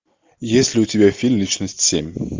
есть ли у тебя фильм личность семь